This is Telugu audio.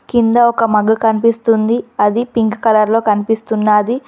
కింద ఒక మగ్ కనిపిస్తుంది అది పింక్ కలర్ లో కనిపిస్తున్నాది.